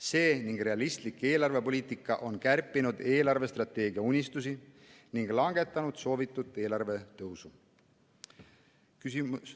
See ning realistlik eelarvepoliitika on kärpinud eelarvestrateegia unistusi ning langetanud soovitud eelarvetõusu.